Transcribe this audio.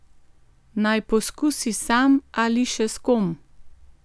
Naj poskusi sam ali še s kom?